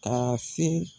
Ka se